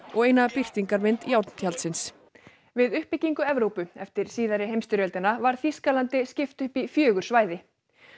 og eina birtingarmynd járntjaldsins við uppbyggingu Evrópu eftir síðari heimsstyrjöldina var Þýskalandi skipt upp í fjögur svæði